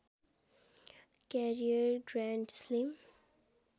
career grand slam